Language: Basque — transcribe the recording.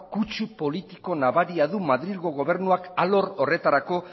kutsu politiko nabaria du madrilgo gobernuak alor horretarako